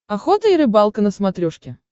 охота и рыбалка на смотрешке